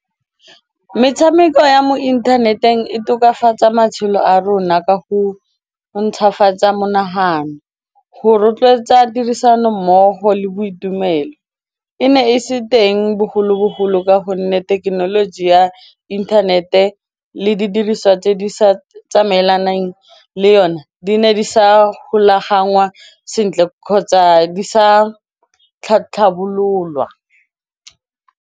Metshameko ya mo inthaneteng e tokafatsa matshelo a rona ka go ntšhwafatsa monagano, go rotloetsa tirisanommogo le boitumelo, e ne e se teng bogologolo ka go gonne thekenoloji ya inthanete le di dirisiswa tse di sa tsamaelanang le yone di ne di sa golagangwa sentle kgotsa di sa tlhatlhamololwa.